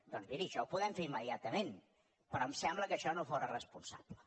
doncs miri això ho podem fer immediatament però em sembla que això no fóra responsable